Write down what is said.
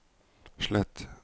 slett